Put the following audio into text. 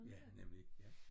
Ja nemlig ja